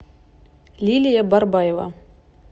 лилия барбаева